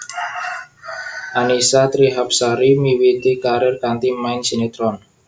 Annisa Trihapsari miwiti karir kanthi main sinetron